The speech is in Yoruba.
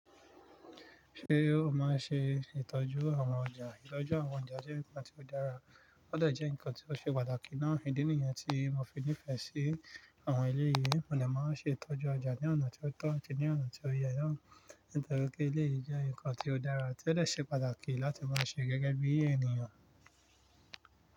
Ṣé o máa ń ṣe ìtọ́jú àwọn ọjà? Ìtọ́jú àwọn ọjà jẹ́ nǹkan tí ó dára, ó dẹ̀ jẹ́ nǹkan tí ó ṣe pàtàkì náà fún ìdí nìyẹn tí mo fi nífẹ̀ẹ́ sí àwọn elèyìí, mo dẹ̀ máa ń ṣe ìtọ́jú ọjà ní ọ̀nà tí ó tọ́ àti ní ọ̀nà tí ó yẹ na, nítorí pe eléyìí jẹ́ nǹkan tí ó dára tí ó dẹ̀ ṣe pàtàkì láti máa ṣe gẹ́gẹ́ bí ènìyàn.